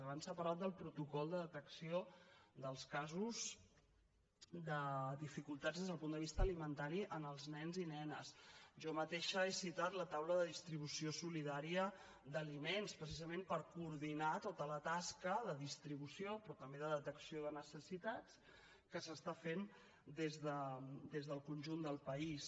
abans s’ha parlat del protocol de detecció dels casos de dificultats des del punt de vista alimentari en els nens i nenes jo mateixa he citat la taula de distribució solidària d’aliments precisament per coordinar tota la tasca de distribució però també de detecció de necessitats que s’està fent des del conjunt del país